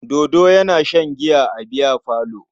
Dodo yana shan giya a biyafalo.